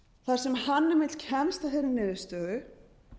þar sem hann einmitt kemst að þeirri niðurstöðu